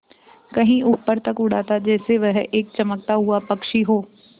कहीं ऊपर तक उड़ाता जैसे वह एक चमकता हुआ पक्षी हो